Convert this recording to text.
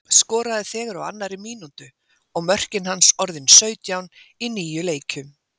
Skoraði þegar á annarri mínútu, og mörkin hans orðin sautján í níu leikjum.